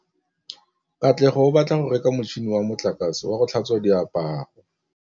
Katlego o batla go reka motšhine wa motlakase wa go tlhatswa diaparo.